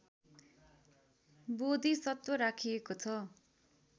बोधिसत्व राखिएको छ